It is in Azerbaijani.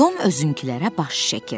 Tom özünəkilərə baş çəkir.